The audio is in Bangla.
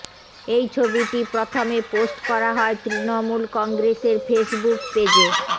এই ছবিটি প্রথমে পোস্ট করা হয় তৃণমূল কংগ্রেসের ফেসবুক পেজে